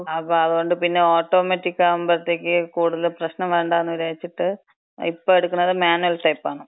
അപ്പം അതുകൊണ്ട് പിന്നെ ഓട്ടോമാറ്റിക് ആകുമ്പത്തേക്ക് കൂടുതല് പ്രശ്നം വേണ്ടാന്ന് വിചാരിച്ചിട്ട്, ഇപ്പൊ എടുക്കണത് മാനുവൽ ടൈപ്പാണ്.